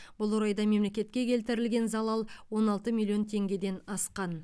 бұл орайда мемлекетке келтірілген залал он алты миллион теңгеден асқан